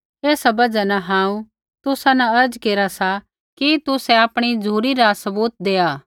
ऐसा बजहा न हांऊँ तुसा न अर्ज़ केरा सा कि तुसै आपणी झ़ुरी रा सबूत देआ